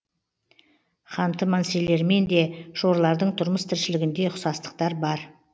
ханты мансилермен де шорлардың тұрмыс тіршілігінде ұқсастықтар бар